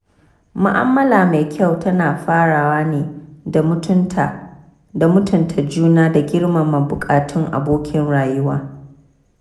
Mu'amala mai kyau tana farawa ne da mutunta juna da girmama buƙatun abokin rayuwa.